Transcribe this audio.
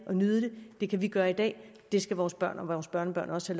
og nyde det det kan vi gøre i dag og det skal vores børn og børnebørn også